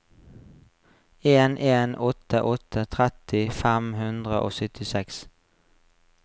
en en åtte åtte tretti fem hundre og syttiseks